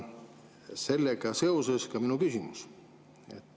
Sellega seoses on mul küsimus.